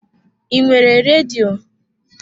I nwere redio?